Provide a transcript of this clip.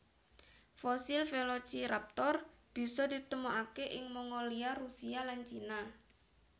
Fosil Velociraptor bisa ditemokakè ing Mongolia Rusia lan China